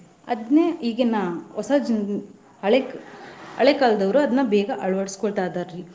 ಅದ್ನೇ ಈಗಿನ ಹೊಸ ಜೀವಿ ಹಳೆಕ~ ಹಳೆಕಾಲದವ್ರು ಅದ್ನ ಬೇಗಾ ಅಳವಡಸ್ಕೊತಾ ಇದಾರಿ .